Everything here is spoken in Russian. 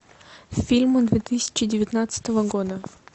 фильмы две тысячи девятнадцатого года